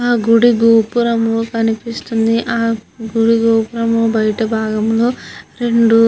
ఆ గుడి గోపురం కనిపిస్తుంది ఆ గుడి గోపురం బయట భాగములో రెండు --